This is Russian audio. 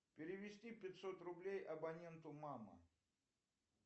перевести пятьсот рублей абоненту мама